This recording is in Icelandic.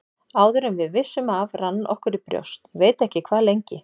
Áður en við vissum af rann okkur í brjóst, ég veit ekki hvað lengi.